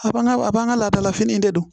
A b'an ka a b'an ka ladala fini de don